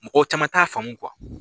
Mɔgɔ caman t'a faamun